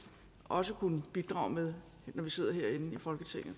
også kunne bidrage med når vi sidder herinde i folketinget